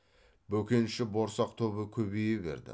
бөкенші борсақ тобы көбейе берді